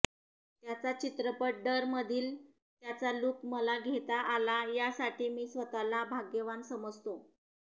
त्याचा चित्रपट डरमधील त्याचा लूक मला घेता आला यासाठी मी स्वतःला भाग्यवान समजतो